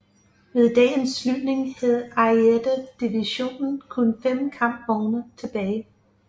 Ved dagens slutning havde Ariete Divisionen kun 5 kampvogne tilbage